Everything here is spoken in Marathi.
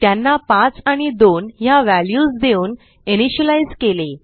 त्यांना पाच आणि दोन ह्या व्हॅल्यूज देऊन इनिशियलाईज केले